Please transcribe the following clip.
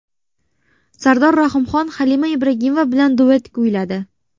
Sardor Rahimxon Halima Ibragimova bilan duet kuyladi.